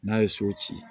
N'a ye so ci